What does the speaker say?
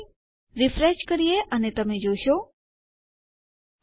તો ચાલો રીફ્રેશ કરીએ અને તમે જોઇ શકો છો ઓહ